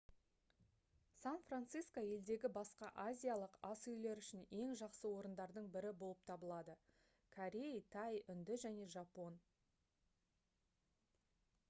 сан-франсиско елдегі басқа азиялық асүйлер үшін ең жақсы орындардың бірі болып табылады корей тай үнді және жапон